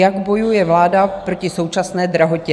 Jak bojuje vláda proti současné drahotě.